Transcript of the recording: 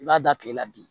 I b'a da tile la bi